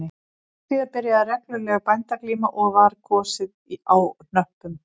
Skömmu síðar byrjaði regluleg bændaglíma og var kosið á hnöppum